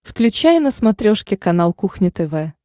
включай на смотрешке канал кухня тв